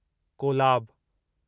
Kolab